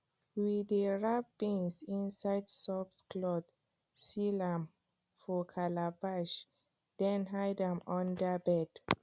we dey wrap beans inside soft cloth seal am for calabash then hide am under bed